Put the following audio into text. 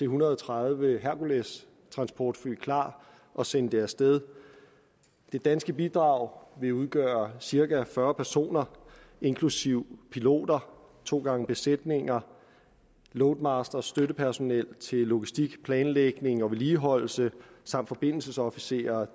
hundrede og tredive herculestransportfly klart og sende det af sted det danske bidrag vil udgøre cirka fyrre personer inklusive piloter to gange besætninger loadmaster støttepersonel til logistik planlægning og vedligeholdelse samt forbindelsesofficer